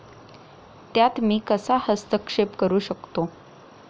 त्यात मी कसा हस्तक्षेप करू शकतो?